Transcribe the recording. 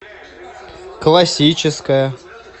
классическая